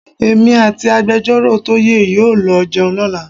Èmi àti Agbẹjọ́rọ̀ Toye yóò lọ jẹun lọ́la.